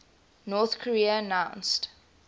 north korea announced